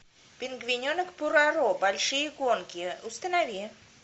пингвиненок пороро большие гонки установи